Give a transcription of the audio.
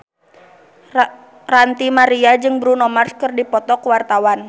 Ranty Maria jeung Bruno Mars keur dipoto ku wartawan